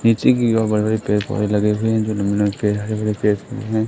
नीचे की ओर बड़े-बड़े पेड़-पौधे लगे हुए हैं जो हरे-भरे पेड़-पौधे हैं।